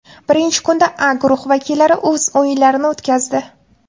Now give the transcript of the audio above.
Birinchi kunda A guruhi vakillari o‘z o‘yinlarini o‘tkazdi.